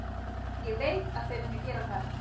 Ég veit að þau munu gera það.